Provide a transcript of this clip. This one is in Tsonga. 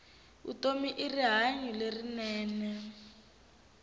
vutomi i rihanyu lerinene